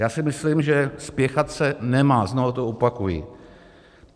Já si myslím, že spěchat se nemá, znovu to opakuji.